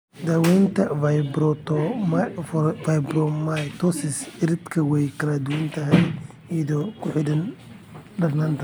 Daawaynta fibromatosis cirridka way kala duwan tahay iyadoo ku xidhan darnaanta.